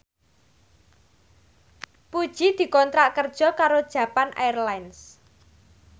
Puji dikontrak kerja karo Japan Airlines